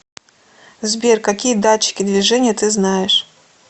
сбер какие датчики движения ты знаешь